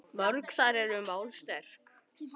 Mörg þar eru mál sterk.